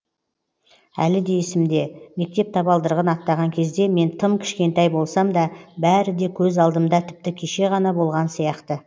әлі де есімде мектеп табалдырығын аттаған кезде мен тым кішкентай болсам да бәрі де көз алдымда тіпті кеше ғана болған сияқты